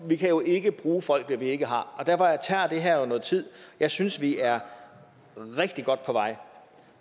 vi kan jo ikke bruge folk vi ikke har derfor tager det her jo noget tid jeg synes at vi er rigtig godt på vej